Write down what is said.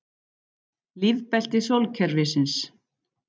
Lífbelti sólkerfisins.